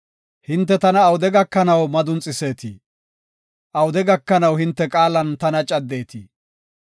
Hinte tana awude gakanaw madunxiseetii? Awude gakanaw hinte qaalan tana caddetii?